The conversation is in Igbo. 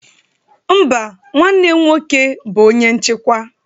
Mba, nwanne m nwoke bụ onye nchịkwa